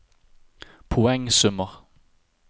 poengsummer